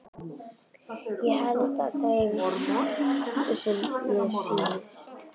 Ég held með þeim sem mér sýnist!